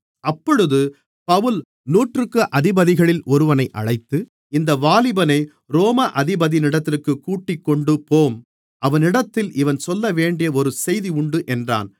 அப்பொழுது பவுல் நூற்றுக்கு அதிபதிகளில் ஒருவனை அழைத்து இந்த வாலிபனை ரோம அதிபதியினிடத்திற்குக் கூட்டிக்கொண்டுபோம் அவரிடத்தில் இவன் சொல்லவேண்டிய ஒரு செய்தி உண்டு என்றான்